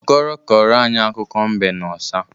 Okoro kọrọ anyị akụkọ mbe na ọsa.